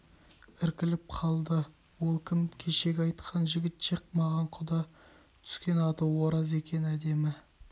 іркіліп қалды ол кім кешегі айтқан жігіт ше маған құда түскен аты ораз екен әдемі